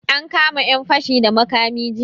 An kama yan fashi da makami jiya.